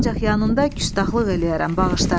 Ancaq yanında küstaxlıq eləyərəm, bağışla.